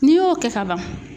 N'i y'o kɛ ka ban